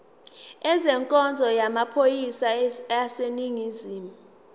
ezenkonzo yamaphoyisa aseningizimu